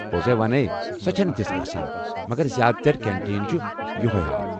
پوٚزٕے ونے، سۄ چھنہٕ تژھ آسان مگر زیٛادٕ تر کنٹیٖنن چھُ یۄہے حال ۔